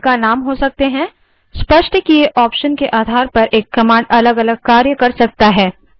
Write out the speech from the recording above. स्पष्ट किए option के आधार पर एक command अलगअलग कार्य कर सकती है